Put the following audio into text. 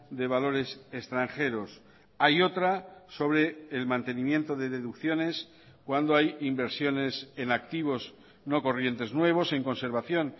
de valores extranjeros hay otra sobre el mantenimiento de deducciones cuando hay inversiones en activos no corrientes nuevos en conservación